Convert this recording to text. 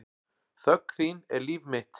Þögn þín er líf mitt.